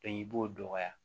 i b'o dɔgɔya